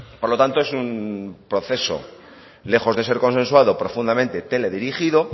por lo tanto es un proceso lejos de ser consensuado profundamente teledirigido